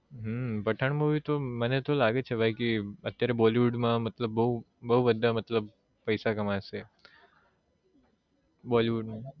હમ Pathaan movie તો મને તો લાગે છે કિ અત્યારે bollywood માં મતલબ બૌ બધાં મતલબ પૈસા કમાશે bollywood મા